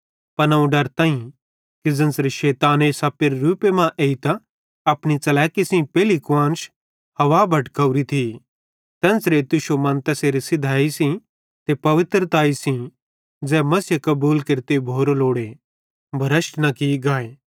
पन अवं डरताईं कि ज़ेन्च़रे शैताने सप्पेरे रूपे मां एइतां अपनी च़लैकी सेइं पेइली कुआन्श हव्वा भटकवरी थी तेन्च़रे तुश्शो मन तैसेरे सिधयैई ते पवित्रतैई सेइं ज़ै मसीहे कबूल केरते भोरी लोड़े भ्रष्ट न की गाए